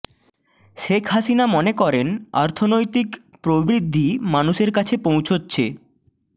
শেখ হাসিনা মনে করেন অর্থনৈতিক প্রবৃদ্ধি মানুষের কাছে পৌঁছচ্ছে